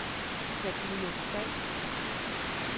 Sabine Falk